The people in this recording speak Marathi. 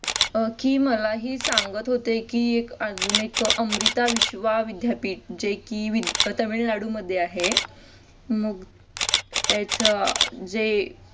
की मलाही सांगत होते की अजून एक अमृता विश्वा विद्यापीठ जे कि तमिळनाडूमध्ये आहे मग त्याच जे